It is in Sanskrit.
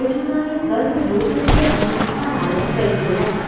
अर्जुनाय कर्मयोगस्य अनुष्ठानाय प्रैरयत्